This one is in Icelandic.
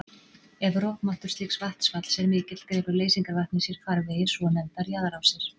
Ef rofmáttur slíks vatnsfalls er mikill grefur leysingarvatnið sér farvegi, svonefndar jaðarrásir.